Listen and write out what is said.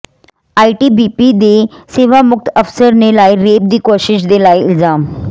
ITBP ਦੀ ਸੇਵਾਮੁਕਤ ਅਫ਼ਸਰ ਨੇ ਲਾਏ ਰੇਪ ਦੀ ਕੋਸ਼ਿਸ਼ ਦੇ ਲਾਏ ਇਲਜ਼ਾਮ